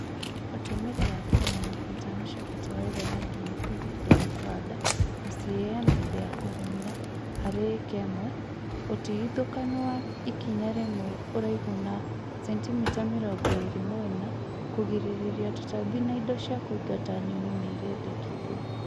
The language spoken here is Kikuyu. ũtũmĩrĩ wa kĩlo mĩrongo ĩtano cĩa bataraĩtha ya DAP hĩndĩ ya kũhanda na CAN hĩndĩ ya kũrĩmĩra harĩ ĩka ĩmwe, ũtĩgĩthũkanũ wa ĩkĩnya rĩmwe ũraĩhũ na sentĩmĩta mĩrongo ĩĩrĩ mwena, kũgĩrĩrĩrĩa tũtambĩ na ĩndo cĩa kũĩngata nyonĩ nĩ ĩrendekĩthĩo